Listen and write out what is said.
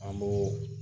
An b'o